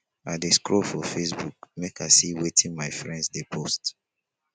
i dey scroll for facebook make i see wetin my friends dey post.